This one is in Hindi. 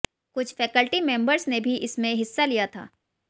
कुछ फैकल्टी मेंबर्स ने भी इसमें हिस्सा लिया था